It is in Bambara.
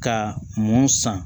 Ka mun san